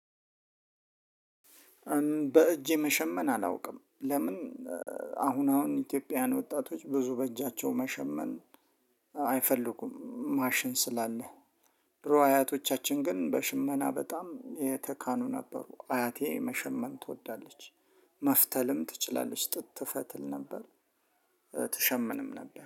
በእጄ መሸመን አላውቅም። ለምን አሁን አሁን ኢትዮጵያውያን ወጣቶች ብዙ በእጃቸው መሸመን አይፈልጉም ማሽን ስላለ ድሮ አያቶቻችን ግን በሽመና በጣም የተካኑ ነበሩ አያቴ መሸመን ትወዳለች። መፍተልም ትችላለች። ጥጥ ትፈትል ነበር ትሸምንም ነበር